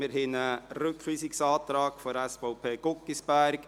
Wir haben einen Rückweisungsantrag der SVP, von Grossrat Guggisberg.